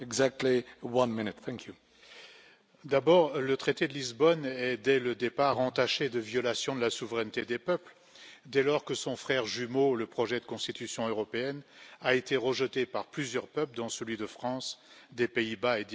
Monsieur le Président, d'abord, le traité de Lisbonne est dès le départ entaché de violation de la souveraineté des peuples, dès lors que son frère jumeau le projet de constitution européenne a été rejeté par plusieurs peuples, dont celui de France, des Pays Bas et d'Irlande.